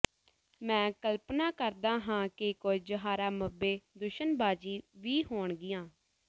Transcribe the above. ਮੈਂ ਕਲਪਨਾ ਕਰਦਾ ਹਾਂ ਕਿ ਕੁਝ ਹਾਰਾਮਬੇ ਦੂਸ਼ਣਬਾਜ਼ੀ ਵੀ ਹੋਣਗੀਆਂ